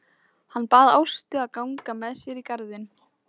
Hann bað Ástu að ganga með sér í garðinn.